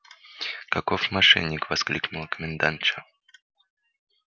каков мошенник воскликнула комендантша